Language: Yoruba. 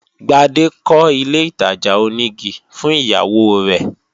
Gbade kọ́ ilé ìtajà onígi fún ìyàwó rẹ